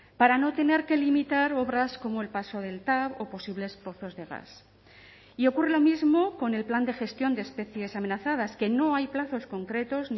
para no tener que limitar obras como el paso del tav o posibles pozos de gas y ocurre lo mismo con el plan de gestión de especies amenazadas que no hay plazos concretos